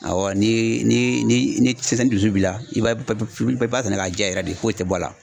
Awɔ ni ni dusu b'i la i b'a i b'a sɛnɛ ka ja yɛrɛ de foyi tɛ bɔ a la.